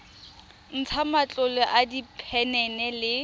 ntsha matlolo a diphenene le